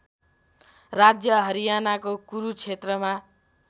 राज्य हरियानाको कुरुक्षेत्रमा